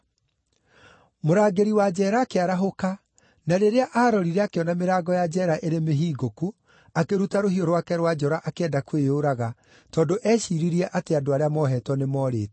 Mũrangĩri wa njeera akĩarahũka, na rĩrĩa aarorire akĩona mĩrango ya njeera ĩrĩ mĩhingũku, akĩruta rũhiũ rwake rwa njora akĩenda kwĩyũraga tondũ eeciiririe atĩ andũ arĩa moohetwo nĩmoorĩte.